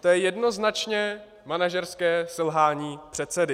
To je jednoznačně manažerské selhání předsedy.